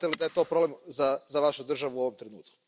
Smatrate li da je to problem za Vašu državu u ovom trenutku?